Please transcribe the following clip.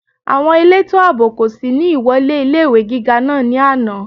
Àwọn elétò àbò kò sí ní ìwọlé ilé-ìwé gíga náà ní àná